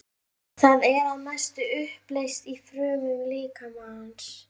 Það er að mestu uppleyst í frumum líkamans.